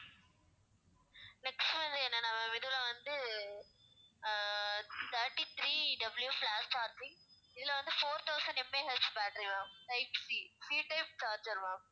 next வந்து என்னனா ma'am இதுல வந்து அஹ் thirty three W flash charging இதுல வந்து four thousand MAH battery ma'am type CC type charger ma'am